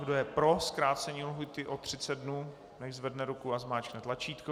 Kdo je pro zkrácení lhůty o 30 dnů, nechť zvedne ruku a zmáčkne tlačítko.